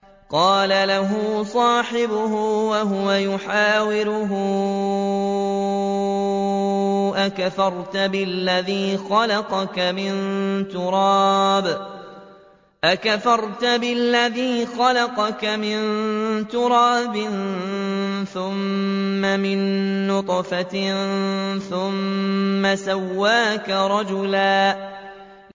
قَالَ لَهُ صَاحِبُهُ وَهُوَ يُحَاوِرُهُ أَكَفَرْتَ بِالَّذِي خَلَقَكَ مِن تُرَابٍ ثُمَّ مِن نُّطْفَةٍ ثُمَّ سَوَّاكَ رَجُلًا